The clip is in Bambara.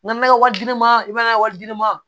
N'an ye wari di ne ma i b'a ye wari dir'i ma